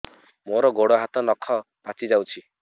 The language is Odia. ମୋର ଗୋଡ଼ ହାତ ନଖ ପାଚି ଯାଉଛି